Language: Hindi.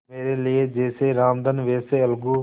मेरे लिए जैसे रामधन वैसे अलगू